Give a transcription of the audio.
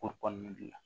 Ko kɔnɔna de la